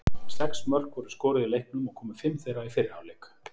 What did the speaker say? Sex mörk voru skoruð í leiknum og komu fimm þeirra í fyrri hálfleik.